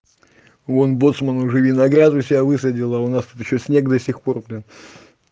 вон боцман уже виноград у себя высадил а у нас тут ещё снег до сих пор блин